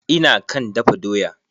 Ina kan dafa doya.